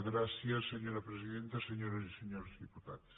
gràcies senyora presidenta senyores i senyors dipu·tats